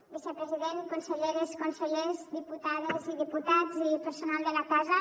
vicepresident conselleres consellers diputades i diputats i personal de la casa